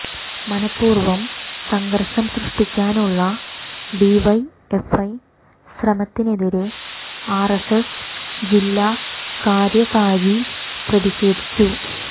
മനപ്പൂര്വ്വം സംഘര്ഷം സൃഷ്ടിക്കാനുള്ള ഡിവൈഎഫ്ഐ ശ്രമത്തിനെതിരെ ആര്എസ്എസ് ജില്ലാ കാര്യകാരി പ്രതിഷേധിച്ചു